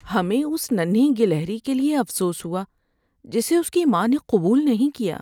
ہمیں اس ننھی گلہری کے لیے افسوس ہوا جسے اس کی ماں نے قبول نہیں کیا۔